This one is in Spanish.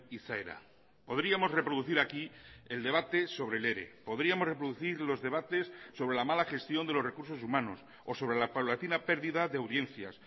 izaera podríamos reproducir aquí el debate sobre el ere podríamos reproducir los debates sobre la mala gestión de los recursos humanos o sobre la paulatina pérdida de audiencias